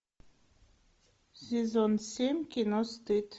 сезон семь кино стыд